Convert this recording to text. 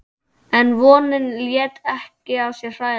En vonin lét ekki að sér hæða.